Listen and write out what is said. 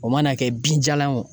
O mana kɛ binjalan ye wo.